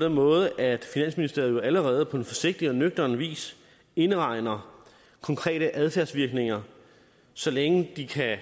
den måde at finansministeriet allerede på en forsigtig og nøgtern vis indregner konkrete adfærdsvirkninger så længe de